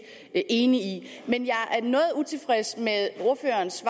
enig i men jeg er noget utilfreds med ordførerens